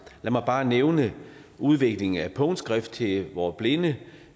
lad mig bare nævne udviklingen af punktskrift til vore blinde